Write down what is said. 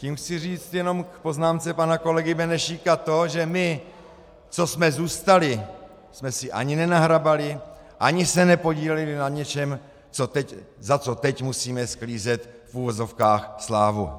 Tím chci říct jenom k poznámce pana kolegy Benešíka to, že my, co jsme zůstali, jsme si ani nenahrabali, ani se nepodíleli na něčem, za co teď musíme sklízet v uvozovkách slávu.